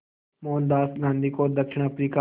मोहनदास गांधी को दक्षिण अफ्रीका